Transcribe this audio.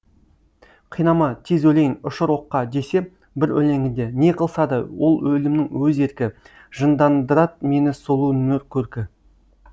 қинама тез өлейін ұшыр оққа десе бір өлеңінде не қылса да ол өлімнің өз еркі жындандырат мені сұлу нұр көркі